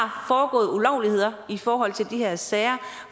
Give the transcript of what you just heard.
har foregået ulovligheder i forhold til de her sager